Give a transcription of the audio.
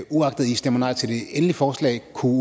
i stemmer nej til det endelige forslag kunne